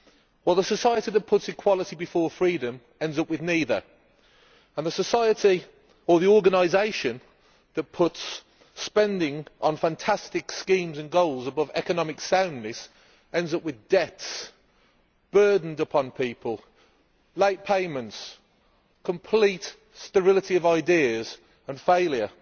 Well, the society that puts equality before freedom ends up with neither, and the society or the organisation that puts spending on fantastic schemes and goals above economic soundness ends up with debts burdened upon people, late payments, complete sterility of ideas and failure.